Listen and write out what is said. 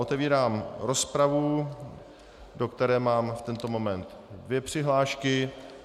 Otevírám rozpravu, do které mám v tento moment dvě přihlášky.